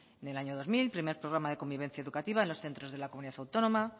en el año dos mil primer programa de convivencia educativa en los centros de la comunidad autónoma